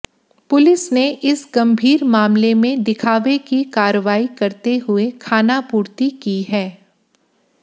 police ने इस गंभीर मामले में दिखावे की कार्रवाई करते हुए खानापूर्ति की है